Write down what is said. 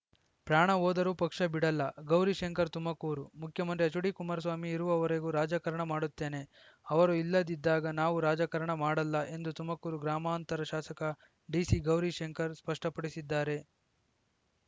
ಪ್ರಾಣ ಹೋದರೂ ಪಕ್ಷ ಬಿಡಲ್ಲ ಗೌರಿಶಂಕರ್‌ ತುಮಕೂರು ಮುಖ್ಯಮಂತ್ರಿ ಎಚ್‌ಡಿ ಕುಮಾರಸ್ವಾಮಿ ಇರುವವರೆಗೂ ರಾಜಕಾರಣ ಮಾಡುತ್ತೇನೆ ಅವರು ಇಲ್ಲದಿದ್ದಾಗ ನಾವು ರಾಜಕಾರಣ ಮಾಡಲ್ಲ ಎಂದು ತುಮಕೂರು ಗ್ರಾಮಾಂತರ ಶಾಸಕ ಡಿಸಿ ಗೌರಿಶಂಕರ್‌ ಸ್ಪಷ್ಟಪಡಿಸಿದ್ದಾರೆ